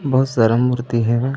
बहुत सारा मूर्ति हवय ।